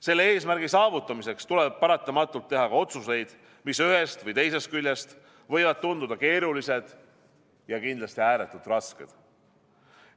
Selle eesmärgi saavutamiseks tuleb paratamatult teha ka otsuseid, mis ühest või teisest küljest võivad tunduda keerulised ja kindlasti ääretult rasked.